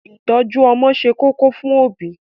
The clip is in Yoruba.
Ìtọ́jú ọmọ ṣe kókó fún òbí.